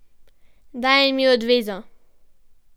Dajem ji odvezo.